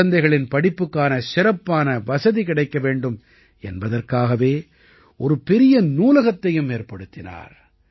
குழந்தைகளின் படிப்புக்கான சிறப்பான வசதி கிடைக்க வேண்டும் என்பதற்காகவே ஒரு பெரிய நூலகத்தையும் ஏற்படுத்தினார்